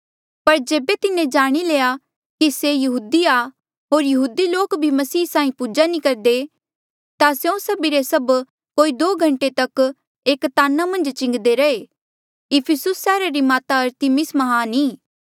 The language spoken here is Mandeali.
पर जेबे तिन्हें जाणी लया कि से यहूदी आ होर यहूदी लोक भी मसीह साहीं पूजा नी करदे ता स्यों सभी रे सभ कोई दो घंटे तक एक ताना मन्झ चिलान्दे रहे इफिसुस सैहरा री माता अरतिमिस म्हान ई